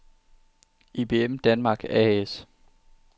IBM Danmark A/S